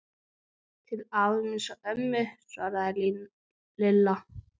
Til afa míns og ömmu svaraði Lilla.